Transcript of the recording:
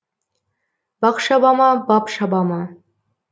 бақ шаба ма бап шаба ма